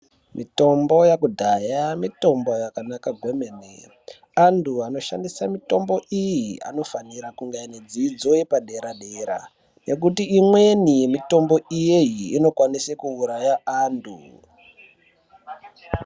Mitombo yekudhaya mitombo yakanaka kwemene antu anoshandisa mitombo iyi anofanira kuva ine dzidzo yepadera dera ngekuti imwnei yemitombo iyi inokwanisa kuuraya antu.